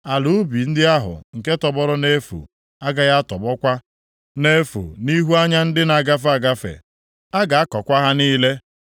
Ala ubi ndị ahụ nke tọgbọrọ nʼefu agaghị atọgbọkwa nʼefu nʼihu anya ndị na-agafe agafe. A ga-akọkwa ha niile.